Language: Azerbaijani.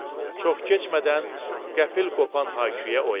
Çox keçmədən qəfil qopan hay-küyə oyandı.